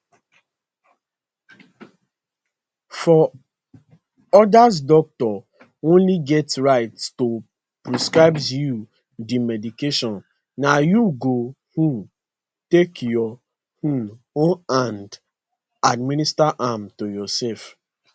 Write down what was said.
for odas doctor only get right to prescribe you di medication na you go um take your um own hand administer am to yourself